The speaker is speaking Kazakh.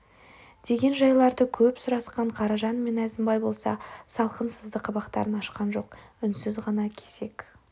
деген жайларды көп сұрасқан қаражан мен әзімбай болса салқын сызды қабақтарын ашқан жоқ үнсіз ғана кезек